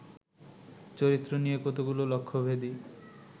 চরিত্র নিয়ে কতগুলো লক্ষ্যভেদী